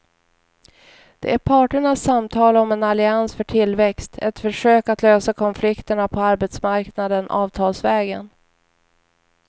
Det är parternas samtal om en allians för tillväxt, ett försök att lösa konflikterna på arbetsmarknaden avtalsvägen.